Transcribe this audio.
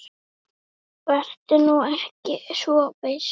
Vertu nú ekki of viss.